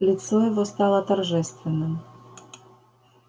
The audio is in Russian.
лицо его стало торжественным